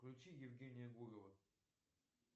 включи евгения гурова